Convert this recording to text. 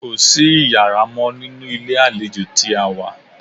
Kò sí iyàrá mọ́ ní ilé àlejò tí a wá.